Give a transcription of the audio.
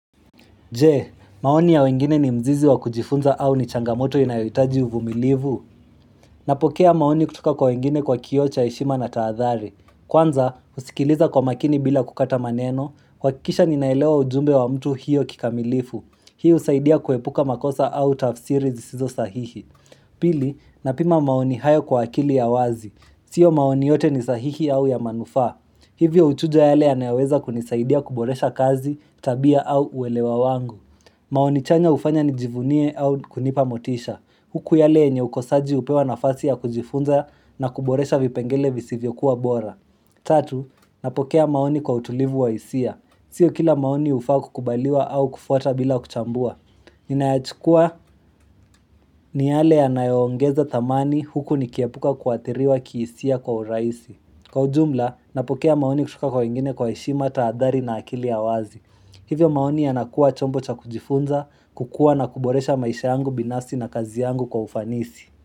Je? Maoni ya wengine ni mzizi wa kujifunza au ni changamoto inayoitaji uvumilivu? Napokea maoni kutoka kwa wengine kwa kio cha heshima na taadhari. Kwanza, husikiliza kwa makini bila kukata maneno, kuhakikisha ninaelewa ujumbe wa mtu hiyo kikamilifu. Hii usaidia kuepuka makosa au tafsiri zisizo sahihi. Pili, napima maoni hayo kwa akili ya wazi. Sio maoni yote ni sahihi au ya manufa. Hivyo uchujo yale anayaweza kunisaidia kuboresha kazi tabia au uwelewa wangu. Maoni chanya ufanya nijivunie au kunipa motisha. Huku yale enye ukosaji upewa nafasi ya kujifunza na kuboresha vipengele visivyo kuwa bora. Tatu, napokea maoni kwa utulivu wa isia. Sio kila maoni ufaa kukubaliwa au kufuata bila kuchambua. Ninayachukua ni yale anayoongeza thamani huku nikiepuka kuatiriwa kiisia kwa uraisi. Kwa ujumla, napokea maoni kutoka kwa wengine kwa heshima taadhari na akili ya wazi. Hivyo maoni yanakua chombo cha kujifunza, kukua na kuboresha maisha yangu binafsi na kazi yangu kwa ufanisi.